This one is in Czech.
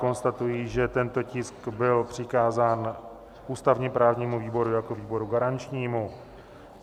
Konstatuji, že tento tisk byl přikázán ústavně-právnímu výboru jako výboru garančnímu.